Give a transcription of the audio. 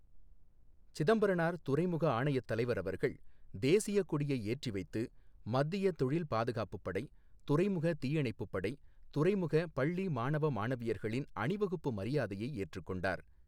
சிதம்பரனார் துறைமுக ஆணையத் தலைவர் அவர்கள், தேசியக் கொடியை ஏற்றி வைத்து, மத்திய தொழில் பாதுகாப்புப் படை , துறைமுக தீயணைப்புப் படை, துறைமுக பள்ளி மாணவ, மாணவியர்களின் அணிவகுப்பு மரியாதையை ஏற்றுக் கொண்டார்.